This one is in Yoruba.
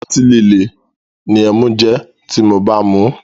Otí líle ni ẹmu jẹ́ ti mo bá ń muú.